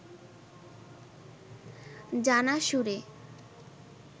জানা সুরে